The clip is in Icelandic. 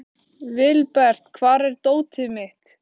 Vilbert, hvar er dótið mitt?